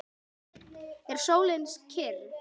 Er sólin kyrr?